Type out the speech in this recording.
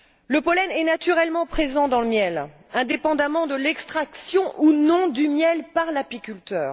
Le pollen est naturellement présent dans le miel, indépendamment de l'extraction ou non du miel par l'apiculteur.